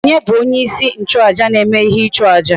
Onye bu onye isi nchu aja na eme ihe ichu aja?